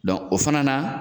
o fana na